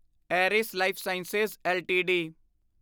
ਏਰਿਸ lifesciences LTD